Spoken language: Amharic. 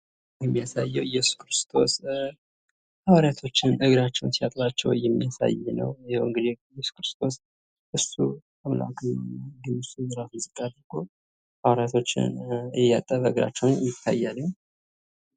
ይህ የሚያሳየው እየሱስ ክርስቶስ ሃዋሪያቶችን እግራቸውን ሲያጥባቸው የሚያሳይ ነው። እየሱስ ክርስቶስ ራሱን ዝቅ አድርጎ ሃዋሪያቶችን እግራቸውን እያጠበ ይታያል።